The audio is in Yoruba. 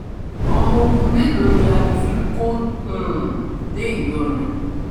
ọmọ ogun mélòó ni alifi kò um dé ìlọrin